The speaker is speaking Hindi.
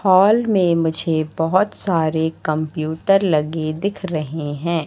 हॉल में मुझे बहोत सारे कंप्यूटर लगे दिख रहे हैं।